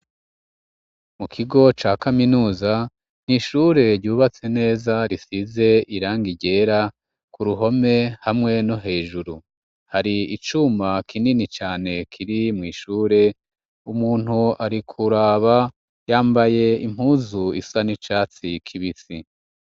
Mu kigo ca kaminuza n'ishure ryubatse neza risize irangi ryera ku ruhome hamwe no hejuru hari icuma kinini cane kiri mwishure umuntu ari kuraba yambaye impuzu isa n'icatsi kibisi.